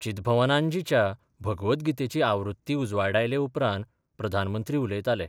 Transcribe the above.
चिदभवनांदजींच्या भगवदगीतेची आवृत्ती उजवाडायले उपरांत प्रधानमंत्री उलयताले.